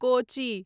कोचि